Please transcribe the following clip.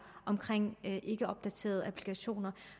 omkring ikkeopdaterede applikationer